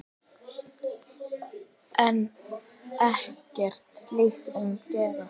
En ekkert slíkt mun gerast.